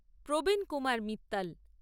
Pravin Kumar Mittal